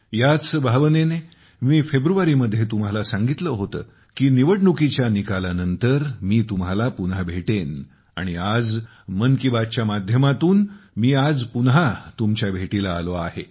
याच भावनेने मी फेब्रुवारीमध्ये तुम्हाला सांगितले होते की निवडणुकीच्या निकालानंतर मी तुम्हाला पुन्हा भेटेन आणि आज 'मन की बात' च्या माध्यमातून मी आज पुन्हा तुमच्या भेटीला आलो आहे